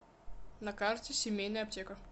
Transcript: на карте семейная аптека